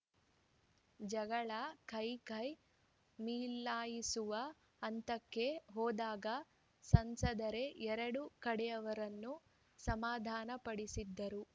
ಜಗಳ ಕೈಕೈ ಮಿಲಾಯಿಸುವ ಹಂತಕ್ಕೆ ಹೋದಾಗ ಸಂಸದರೇ ಎರಡೂ ಕಡೆಯವರನ್ನು ಸಮಾಧಾನಪಡಿಸಿದರು